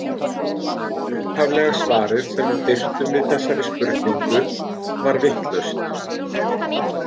Upphaflega svarið sem við birtum við þessari spurningu var vitlaust.